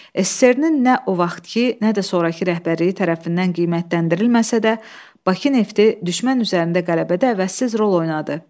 SSRİ-nin nə o vaxtkı, nə də sonrakı rəhbərliyi tərəfindən qiymətləndirilməsə də, Bakı nefti düşmən üzərində qələbədə əvəzsiz rol oynadı.